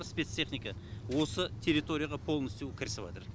спецтехника осы территорияға поолностью кірісіватыр